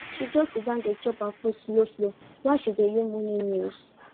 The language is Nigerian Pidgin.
she just siddon dey chop her food slow slow while she dey hear morning news